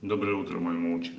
доброе утро моя